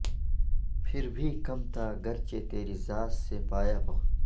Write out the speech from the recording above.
پھر بھی کم تھا گرچہ تیری ذات سے پایا بہت